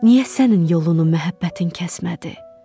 Niyə sənin yolunu məhəbbətin kəsmədi?